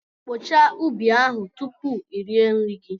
Kpochaa ubi ahụ tupu i rie nri gị!